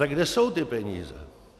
Tak kde jsou ty peníze?